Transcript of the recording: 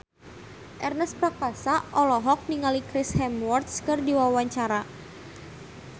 Ernest Prakasa olohok ningali Chris Hemsworth keur diwawancara